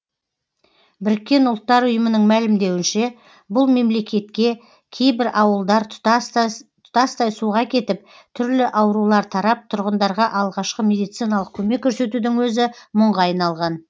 біріккен ұлттар ұйымының мәлімдеуінше бұл мемлекетте кейбір ауылдар тұтастай суға кетіп түрлі аурулар тарап тұрғындарға алғашқы медициналық көмек көрсетудің өзі мұңға айналған